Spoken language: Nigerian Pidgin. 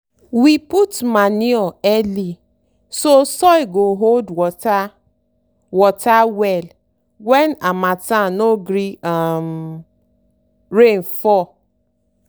we put manure early so soil go hold water water well when harmattan no gree um rain fall.